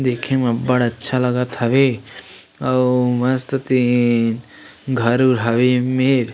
देखे में अब्बड़ अच्छा लागत हवे अउ मस्त तेन घर उर हवे ए मेर--